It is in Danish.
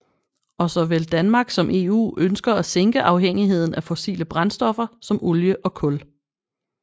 Og såvel Danmark som EU ønsker at sænke afhængigheden af fossile brændstoffer som olie og kul